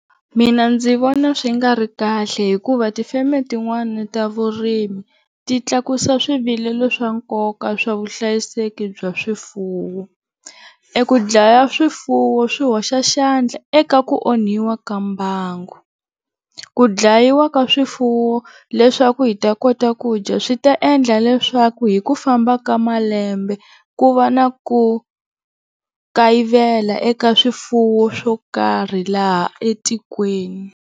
Mina ndzi vona swi nga ri kahle hikuva tifeme tin'wana ta vurimi ti tlakusa swivilelo swa nkoka swa vuhlayiseki bya swifuwo, eku dlaya swifuwo swi hoxa xandla eka ku onhiwa ka mbango, ku dlayiwa ka swifuwo leswaku hi ta kota ku dya swi ta endla leswaku hi ku famba ka malembe ku va na ku kayivela eka swifuwo swo karhi laha etikweni.